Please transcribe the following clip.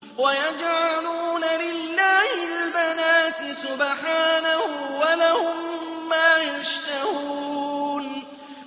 وَيَجْعَلُونَ لِلَّهِ الْبَنَاتِ سُبْحَانَهُ ۙ وَلَهُم مَّا يَشْتَهُونَ